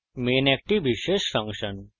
main একটি বিশেষ function